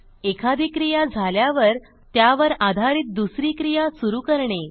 एखादी क्रिया झाल्यावर त्यावर आधारित दुसरी क्रिया सुरू करणे